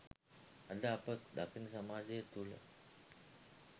අද අප දකින සමාජය තුල